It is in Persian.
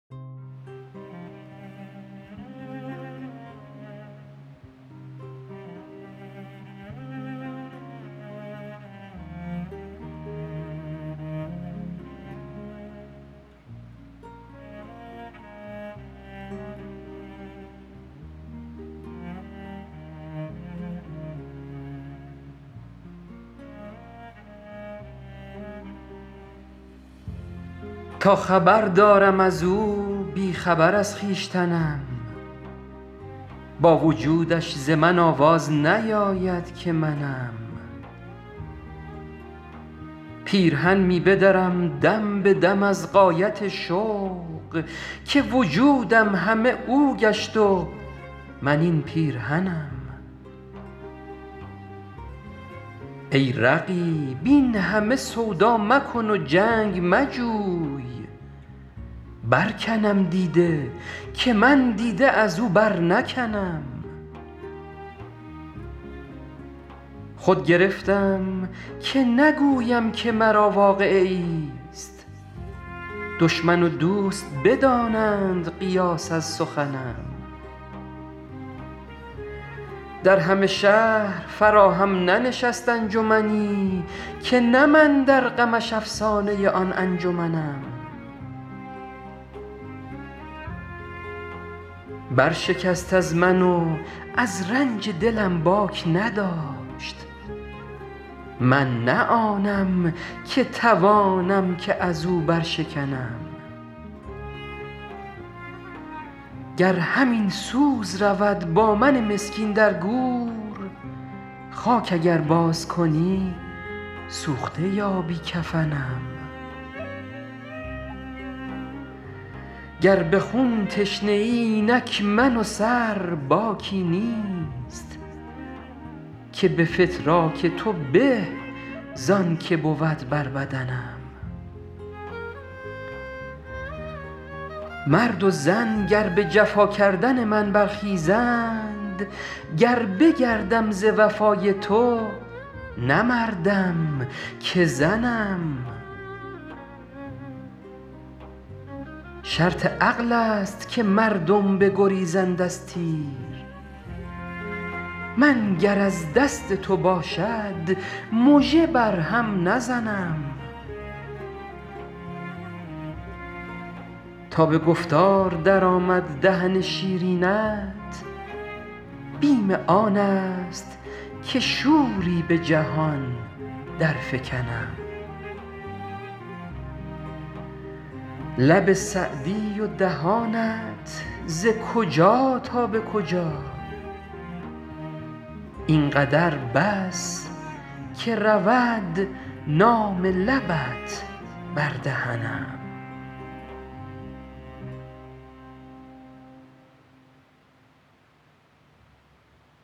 تا خبر دارم از او بی خبر از خویشتنم با وجودش ز من آواز نیاید که منم پیرهن می بدرم دم به دم از غایت شوق که وجودم همه او گشت و من این پیرهنم ای رقیب این همه سودا مکن و جنگ مجوی برکنم دیده که من دیده از او برنکنم خود گرفتم که نگویم که مرا واقعه ایست دشمن و دوست بدانند قیاس از سخنم در همه شهر فراهم ننشست انجمنی که نه من در غمش افسانه آن انجمنم برشکست از من و از رنج دلم باک نداشت من نه آنم که توانم که از او برشکنم گر همین سوز رود با من مسکین در گور خاک اگر بازکنی سوخته یابی کفنم گر به خون تشنه ای اینک من و سر باکی نیست که به فتراک تو به زان که بود بر بدنم مرد و زن گر به جفا کردن من برخیزند گر بگردم ز وفای تو نه مردم که زنم شرط عقل است که مردم بگریزند از تیر من گر از دست تو باشد مژه بر هم نزنم تا به گفتار درآمد دهن شیرینت بیم آن است که شوری به جهان درفکنم لب سعدی و دهانت ز کجا تا به کجا این قدر بس که رود نام لبت بر دهنم